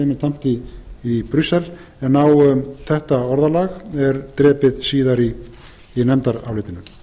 er tamt í brussel en á þetta orðalag er drepið síðar í nefndarálitinu